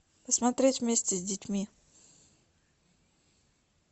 посмотреть вместе с детьми